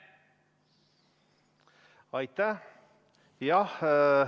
Aitäh!